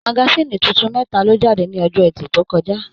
Magasin títún mẹta lo jáde ní ọjọ ẹtì to kọjá.